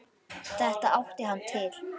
Þetta átti hann til.